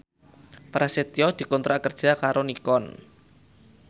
Prasetyo dikontrak kerja karo Nikon